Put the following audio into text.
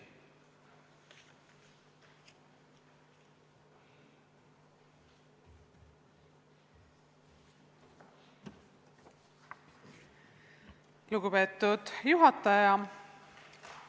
Lugupeetud juhataja!